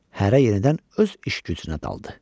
Hərə yenidən öz iş gücünə daldı.